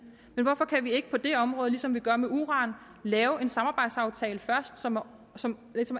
men hvorfor kan vi ikke på det område ligesom vi gør med uran lave en samarbejdsaftale først som som